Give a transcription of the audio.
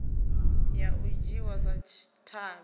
ya u dzhiwa sa tshavhi